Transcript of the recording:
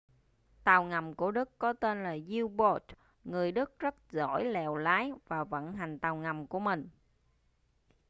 tàu ngầm của đức có tên là u-boat người đức rất giỏi lèo lái và vận hành tàu ngầm của mình